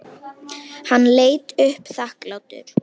Hann leit upp þakklátur.